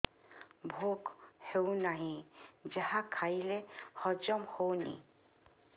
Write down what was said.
ଭୋକ ହେଉନାହିଁ ଯାହା ଖାଇଲେ ହଜମ ହଉନି